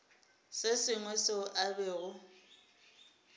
se sengwe seo a bego